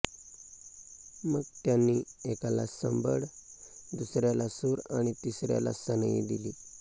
मग त्यांनी एकाला संबळ दुसऱ्याला सूर आणि तिसऱ्याला सनई दिली